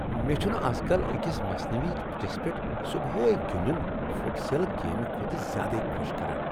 مےٚ چُھنہٕ ازکل أکِس مصنوعی پِچس پیٹھ صبحٲیے فٹ سل گیمِہ کھۄتہٕ زیادٕ خوشی دِوان ۔